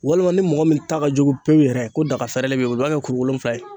Walima ni mɔgɔ min ta ka jugu pewu yɛrɛ ko dagafɛrɛnlen b'i bolo i b'a kɛ kuru wolonwula ye.